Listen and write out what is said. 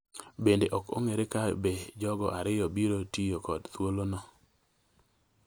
Bende ok ong’ere ka be jogo ariyo biro tiyo kod thuolono